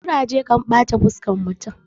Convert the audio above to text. kuraje kan bata fuskar mutum